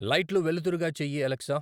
లైట్లు వెలుతురుగా చేయి అలెక్సా